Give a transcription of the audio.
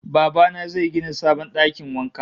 Baba na zai gina sabon dakin wanka